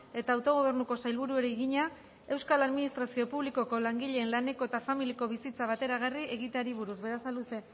eta autogobernuko sailburuari egina euskal administrazio publikoko langileen laneko eta familiako bizitza bateragarri egiteari buruz berasaluze